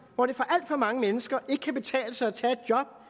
hvor det for alt for mange mennesker ikke kan betale sig at tage et job